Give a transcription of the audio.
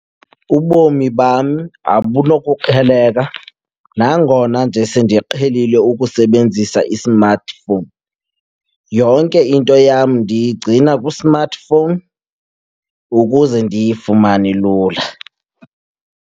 Ubomi bam abunokuqheleka nangona nje sendiqhelile ukusebenzisa i-smartphone. Yonke into yam ndigcina kwi-smartphone ukuze ndiyifumane lula.